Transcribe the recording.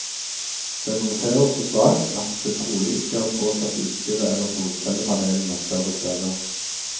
Den roterer så svakt at det trolig ikke har påført utstyret eller solcellepanelene større skader.